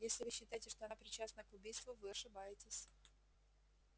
если вы считаете что она причастна к убийству вы ошибаетесь